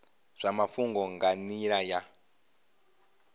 zwa mafhungo nga nila ya